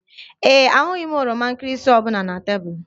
Ee e, ahụghị m oroma nkịrịsị ọ bụla na tebụl